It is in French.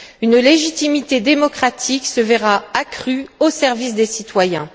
une légitimité démocratique se verra accrue au service des citoyens.